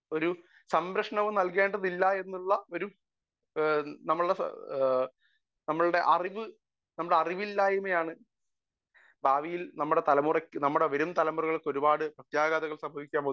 speaker 1 ഒരു സംരക്ഷണവും നൽകേണ്ടതില്ല എന്ന നമ്മുടെ അറിവ് അറിവില്ലായ്മയാണ് ഭാവിയിൽ നമ്മുടെ വരും തലമുറക്ക് ഒരുപാട് പ്രത്യാഘാതങ്ങൾ സംഭവിക്കാൻ പോകുന്നത്